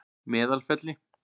Meðalfelli